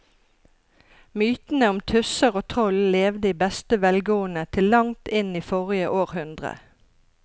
Mytene om tusser og troll levde i beste velgående til langt inn i forrige århundre.